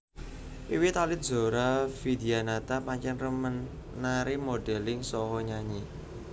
Wiwit alit Zora Vidyanata pancén remen nari modeling saha nyanyi